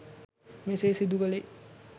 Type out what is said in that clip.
මෙසේ සිදු කළේ